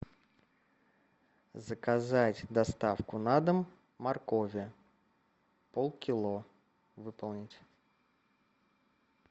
заказать доставку на дом моркови полкило выполнить